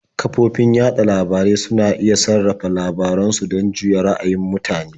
Kafofin yaɗa labarai suna iya sarrafa labaran su don juyar da ra'ayin mutane.